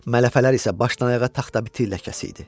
Mələfələr isə başdan-ayağa taxtabiti ləkəsi idi.